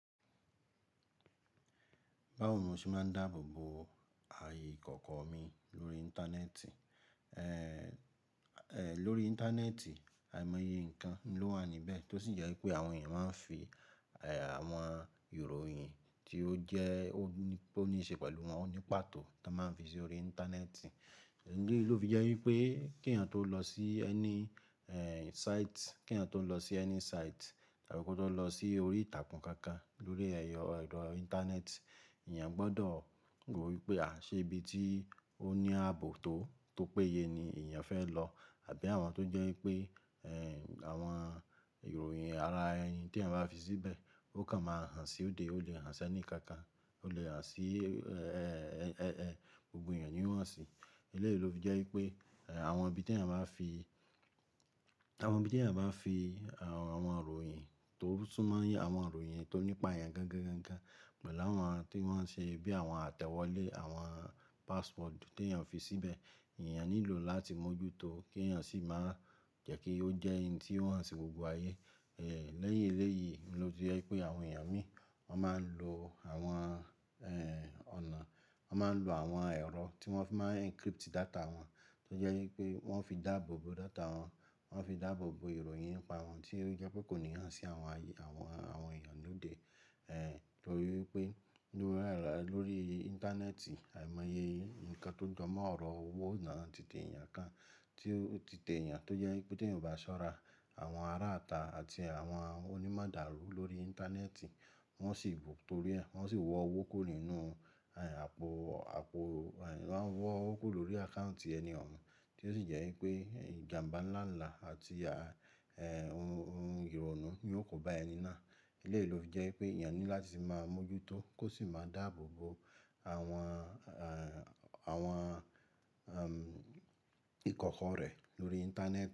Báwo mo ṣe máa ń dáàbòbo ààyè ìkọ̀kọ̀ mi lórí Íńtánẹ́ẹ̀tì? Èéh, è lóri Íńtánẹ́ẹ̀tì àìmọye nǹkan ló wà níbẹ̀ tó ṣì jẹ́ pé àwọn èèyàn máa ń fi àwọn ìròyìn tí ó jẹ́ ó ní pé ó ní ṣe pẹ̀lú wọn ní pàtó tó máa ń fi sí orí Íńtánẹ́ẹ̀tì. Eléyìí ló fi jẹ́ wípé kí èèyàn tó lọ sí ẹni site, kí èèyàn tó lọ sí ẹni site tàbí kó tó lọ sí orí ìtàkùn kankan lórí ẹ̀rọ Íńtánẹ́ẹ̀tì, èèyàn gbọ́dọ̀ rò wípé à ṣẹ ibi tí ó ní ààbò tó tó péye ni èèyàn fẹ́ lọ àbí àwọn tó jẹ́ wípé èh àwọn ìròyìn ara ẹni tí èèyàn bá fi síbẹ̀ ó kan máa hàn sí òde, ó lè hàn sẹ́ni kankan, ó lè hàn sí èéh gbogbo èèyàn ni ó hàn si. Eléyìí ló fi jẹ́ wípé àwọn ibi tí èèyàn bá fi àwọn ibi tí èèyàn bá fi àwọn ìròyìn tó tún máa ń yé àwọn ìròyìn tó nípa èèyàn gangan gan gan pẹ̀lú àwọn tí wọ́n ṣe bí àwọn àtẹ́wọlé, àwọn passport tí èèyàn fi síbẹ̀, èèyàn nílò láti mójútó kí èèyàn sì máa jẹ́ kí ó jẹ́ ohun tí ó hàn sí gbogbo ayé. Ẹẹ̀h lẹ́yìn eléyìí ló fi jẹ́ wípé àwọn èèyàn mí wọ́n máa ń lo àwọn ẹ̀h ọ̀nà, wọ́n máa ń lo àwọn ẹ̀rọ tí wọ́n fi máa ń encrypt data wọn tó jẹ́ wípé wọ́n fi dáàbò bo data wọn, wọ́n fi dáàbò bo ìròyìn nípa wọn tí ó jẹ́ pé kòníhàn sí àwọn ayé àwọn àwọn èèyàn lóde ẹ̀h torí wípé lórí Íńtánẹ́ẹ̀tì àìmọye nǹkan tó jọmọ́ ọ̀rọ̀ owó náà ti tẹ èèyàn kan, tí ó ti tẹ èèyàn tó jẹ́ wípé tí èèyàn bá ṣọ́ra àwọn ará ata àti àwọn onímọ̀dárù lórí Íńtánẹ́ẹ̀tì wọ́n sì bù tó rí ẹ, wọ́n sì wọ owó kúrò nínú àpò àpò wọ́n ń wọ́ owó kúrò lórí àkáùntì ẹni ọ̀hún tí ó sì jẹ́ wípé ìjàǹbá ńlá ńlá àti à èh ohun ìrònú ni yó kóbá ẹni náà. Eléyìí ló fi jẹ́ pé èèyàn ní láti sì máa mójútó kó sì máa dáàbò bo àwọn àwọn ẹm ìkọ̀kọ̀ rẹ lórí Íńtánẹ́ẹ̀tì.